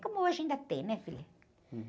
Como hoje ainda tem, né, filha?